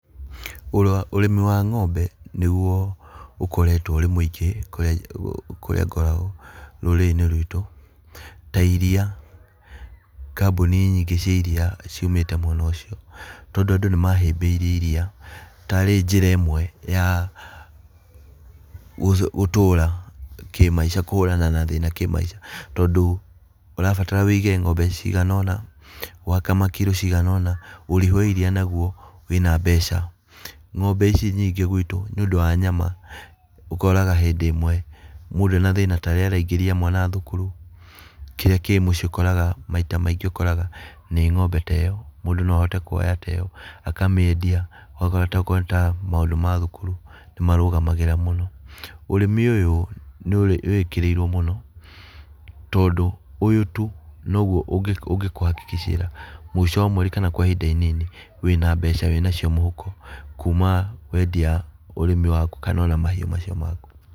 Ũrĩmi wa ng'ombe nĩguo ũkoretwo ũrĩ mũingĩ kũrĩa kũrĩa ngoragwo, rũrĩrĩ-inĩ rwitũ. Ta iria, kambũni nyingĩ cia iria ciumĩte mwena ũcio, tondũ andũ nĩ mahĩmbĩirie iria tarĩ njĩra ĩmwe ya gũtũra kĩmaica kũhũrana na thĩna kĩmaica, tondũ ũrabatara wĩige ng'ombe cigana ũna, wakama kiro cigana ũna, ũrĩmi wa iria naguo wĩna mbeca. Ng'ombe ici nyingĩ gwitũ nĩũndũ wa nyama, ũkoraga hĩndĩ ĩmwe mũndũ ena thĩna, ta rĩrĩa araingĩria mwana thukuru, kĩrĩa kĩ mũciĩ ũkoraga, maita maingĩ ũkoraga nĩ ng'ombe ta ĩyo, mũndũ no ahote kuoya ta ĩyo akamĩendia ũgakora ta akorwo nĩ ta maũndũ ma thukuru nĩ marũgamagĩrĩra mũno. Ũrĩmi ũyũ nĩ wĩkĩrĩirwo mũno, tondũ ũyũ tu noguo ũngĩkũhakikicĩra mũico wa mweri kana ihinda inini wĩna mbeca wĩnacio mũhuko, kuma wendia ũrĩmi waku kana ona mahiũ macio maku.